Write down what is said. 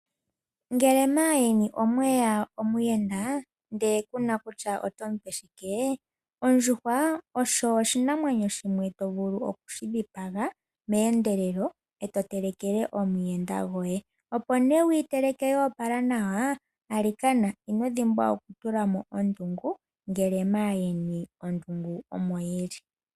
Ngele maayeni omweya omuyenda ndele kuna kutya otomu pe shike, ondjuhwa osho oshinamwenyo shimwe to vulu okudhipaga meendelelo e to telekele omuyenda goye. Opo wushi teleke nawa, alikana ino dhimbwa okutula mo ondungu ngele maayeni ondungu omo yili.